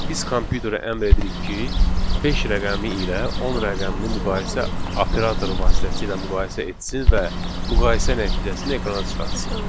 Biz kompüterə əmr edirik ki, 5 rəqəmi ilə 10 rəqəmini müqayisə operatoru vasitəsilə müqayisə etsin və müqayisə nəticəsini ekrana çıxartsın.